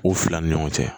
U fila ni ɲɔgɔn cɛ